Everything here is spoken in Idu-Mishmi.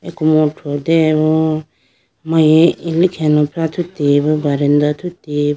fruteyibo amari ilikhi alofra athuteyi bo verandah athuteyi.